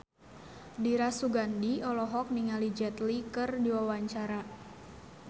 Dira Sugandi olohok ningali Jet Li keur diwawancara